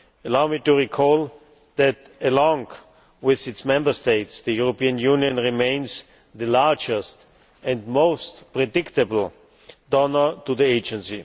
Allow me to recall that, along with its Member States, the European Union remains the largest and most predictable donor to the Agency.